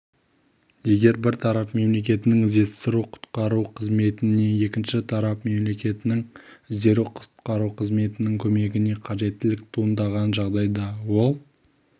егер бір тарап мемлекетінің іздестіру-құтқару қызметіне екінші тарап мемлекетінің іздестіру-құтқару қызметінің көмегіне қажеттілік туындаған жағдайда ол